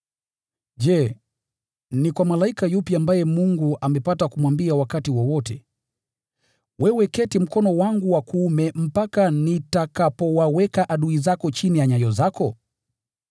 Je, ni kwa malaika yupi ambaye Mungu amepata kumwambia wakati wowote, “Keti mkono wangu wa kuume, hadi nitakapowaweka adui zako chini ya miguu yako”?